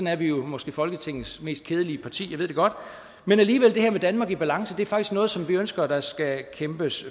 er vi jo måske folketingets mest kedelige parti jeg ved det godt men alligevel er det her med danmark i balance faktisk noget som vi ønsker at der fortsat skal kæmpes